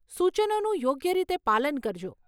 સુચનોનું યોગ્ય રીતે પાલન કરજો.